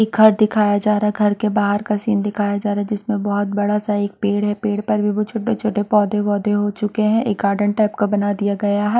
एक घर दिखाया जा रहा है घर के बाहर का सीन दिखाया जा रहा है जिसमें बहुत बड़ा सा एक पेड़ है पेड़ पर भी वो छोटे छोटे पौधे वौधे हो चुके हैं एक गार्डन टाइप का बना दिया गया है।